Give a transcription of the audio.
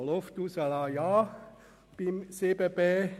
Also, Luft rauslassen, Ja zu 7.b.!